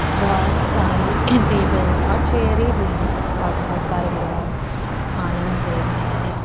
बोहोत सारी टेबल और चेयरे भी हैं और बोहोत सारे लोग आनंद ले रहे हैं।